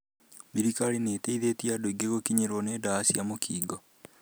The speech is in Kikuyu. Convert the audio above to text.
Thirikari nĩ ĩteithĩtie andũ aingĩ gũkinyĩrwo nĩ ARVS. ĩ